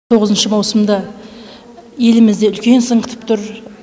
тоғызыншы маусымда елімізді үлкен сын күтіп тұр